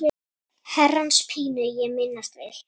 Herrans pínu ég minnast vil.